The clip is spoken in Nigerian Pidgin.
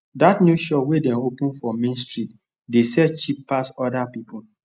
dat new shop wey dem open for main street dey sell cheap pass other people